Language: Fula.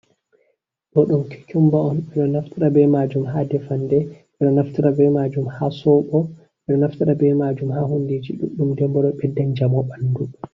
Ɗoɗum kikumba on ɓeɗo naftira be majum ha defande ɓeɗo naftira be majum ha soɓo ɓeɗo naftara be majum ha hundiji ɗuɗɗum nden ɓeddan njamo ɓandu.